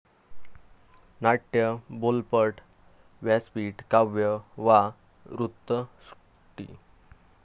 नाट्य, बोलपट, व्यासपीठ, काव्य वा वृत्तसृष्टी